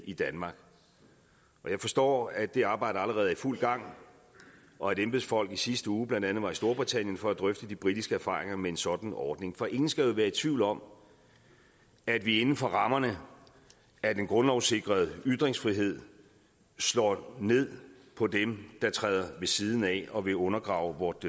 i danmark og jeg forstår at det arbejde allerede er i fuld gang og at embedsfolk i sidste uge blandt andet var i storbritannien for at drøfte de britiske erfaringer med en sådan ordning for ingen skal være i tvivl om at vi inden for rammerne af den grundlovssikrede ytringsfrihed slår ned på dem der træder ved siden af og vil undergrave vort